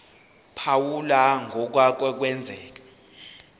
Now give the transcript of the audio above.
phawula ngokwake kwenzeka